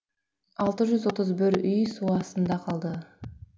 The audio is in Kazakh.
алты жүз отыз бір үй су астына қалды